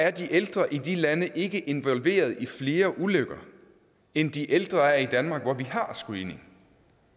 at de ældre i de lande ikke er involveret i flere ulykker end de ældre er i danmark hvor vi har screening